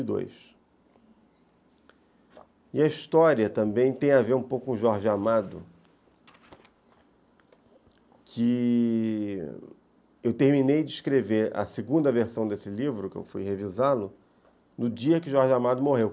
E a história também tem a ver um pouco com Jorge Amado, que eu terminei de escrever a segunda versão desse livro, que eu fui revisá-lo, no dia em que Jorge Amado morreu.